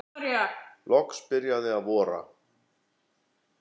Loks byrjaði að vora.